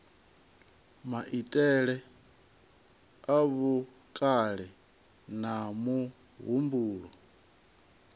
maitele a vhukale na muhumbulo